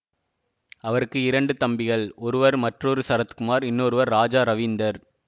அவருக்கு இரண்டு தம்பிகள் ஒருவர் மற்றொரு சரத்குமார் இன்னொருவர் ராஜா ரவீந்தர்